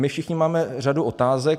My všichni máme řadu otázek.